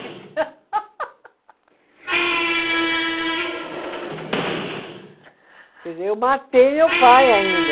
Quer dizer, eu matei meu pai ainda.